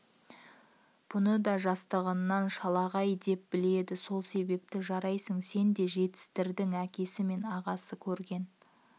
бұны да жастығынан шалағай деп біледі сол себепті жарайсың сен де жетістірдің әкесі мен ағасына көрген